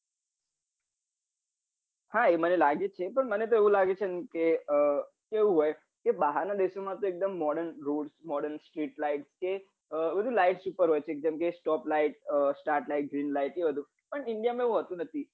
હા એ મને લાગે છે પણ મને તો એવું લાગે છે કે કેવું હોય કે બહાર ના દેશો માં એકદમ modern grossmodern stretline કે બધું lights ઉપર હોય છે એકદમ stope light start light green light એ બધું પણ india માં એવું હોતું નથી